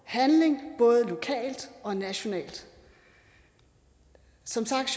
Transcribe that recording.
handling både lokalt og nationalt som sagt